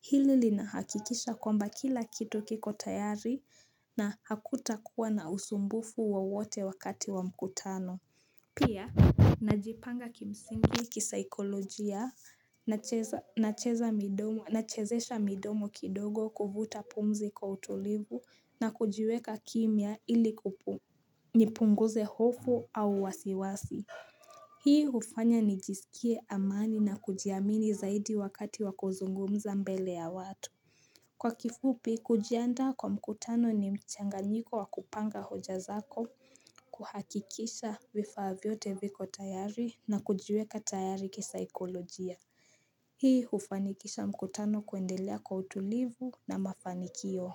Hili li nahakikisha kwamba kila kitu kiko tayari na hakuta kuwa na usumbufu wowote wakati wa mkutano. Pia najipanga kimsingi kisaikolojia na cheza midomo na chezesha midomo kidogo kuvuta pumzi kwa utulivu na kujiweka kimia ili kupunguze hofu au wasiwasi Hii hufanya nijisikie amani na kujiamini zaidi wakati wakuzungumza mbele ya watu Kwa kifupi, kujianda kwa mkutano ni mchanganyiko wa kupanga hoja zako, kuhakikisha vifaa vyote viko tayari na kujiweka tayari kisaikolojia. Hii ufanikisha mkutano kuendelea kwa utulivu na mafanikio.